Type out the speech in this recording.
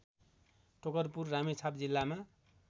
टोकरपुर रामेछाप जिल्लामा